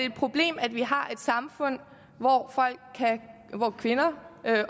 et problem at vi har et samfund hvor kvinder